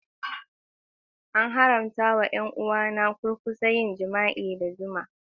An haramta wa 'yan uwa na kurkusa yin jima'i da juna.